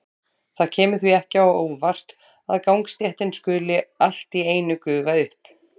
Það kemur því ekki á óvart að gangstéttin skuli allt í einu gufa upp.